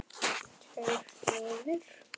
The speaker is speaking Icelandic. Tveir niður?